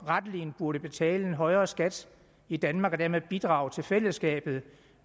rettelig burde betale en højere skat i danmark og dermed bidrage til fællesskabet